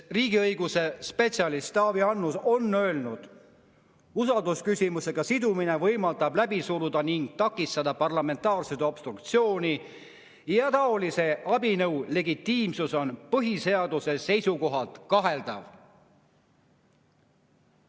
Riigiõiguse spetsialist Taavi Annus on öelnud, et usaldusküsimusega sidumine võimaldab läbi suruda ning takistada parlamentaarset obstruktsiooni ning taolise abinõu legitiimsus on põhiseaduse seisukohalt kaheldav.